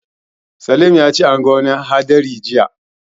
Salim ya ce a ga wani haɗari jiya.